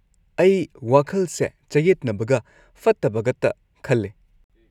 ꯑꯩ ꯋꯥꯈꯜꯁꯦ ꯆꯌꯦꯠꯅꯕꯒ ꯐꯠꯇꯕꯒꯇ ꯈꯜꯂꯦ꯫